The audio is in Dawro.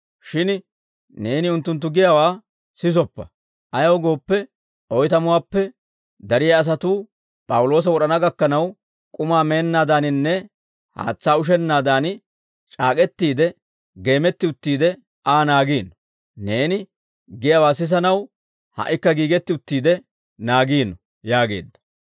Shin neeni unttunttu giyaawaa sisoppa; ayaw gooppe, oytamuwaappe dariyaa asatuu p'awuloosa wod'ana gakkanaw, k'umaa meennaadaaninne haatsaa ushennaadan, c'aak'k'etiide geemetti uttiide Aa naagiino; neeni giyaawaa sisanaw ha"ikka giigetti uttiide naagiino» yaageedda.